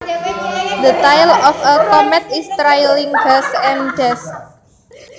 The tail of a comet is trailing gas and dust